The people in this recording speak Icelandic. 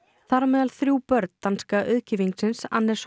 þar á meðal þrjú börn danska auðkýfingsins Anders